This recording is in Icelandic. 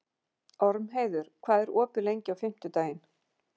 Ormheiður, hvað er opið lengi á fimmtudaginn?